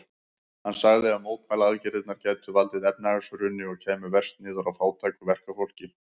Hann sagði að mótmælaaðgerðirnar gætu valdið efnahagshruni og kæmu verst niður á fátæku verkafólki.